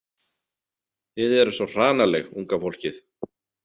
Þið eruð svo hranaleg, unga fólkið.